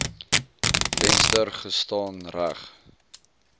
venster gestaan reg